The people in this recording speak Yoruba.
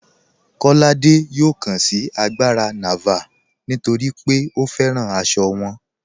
Kọládé yọ̀ọ́ kàn sí àgbárà Nàvàl̀ nítorí pé ó fẹ́ràn àṣọ wọn.